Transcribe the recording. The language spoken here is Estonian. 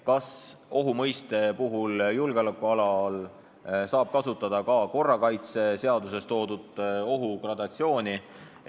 Kas ohu mõiste puhul saab julgeolekualal kasutada ka korrakaitseseaduses toodud ohu gradatsiooni?